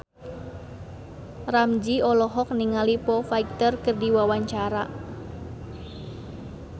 Ramzy olohok ningali Foo Fighter keur diwawancara